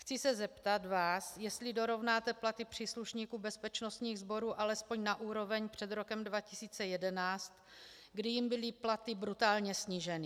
Chci se zeptat vás, jestli dorovnáte platy příslušníků bezpečnostních sborů alespoň na úroveň před rokem 2011, kdy jim byly platy brutálně sníženy.